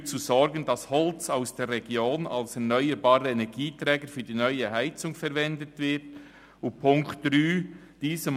] dafür zu sorgen, dass Holz aus der Region als erneuerbarer Energieträger für die neue Heizung verwendet wird» und unter Ziffer 3 «[…